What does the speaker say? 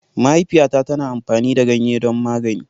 Mahaifiyata tana amfani da ganye don magani.